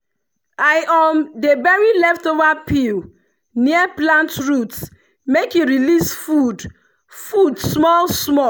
i um dey bury leftover peel near plant root make e release food food small-small.